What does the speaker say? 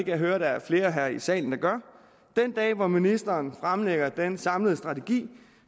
jeg høre at der er flere her i salen der gør den dag hvor ministeren fremlægger den samlede strategi